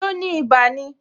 So ni ibà ni?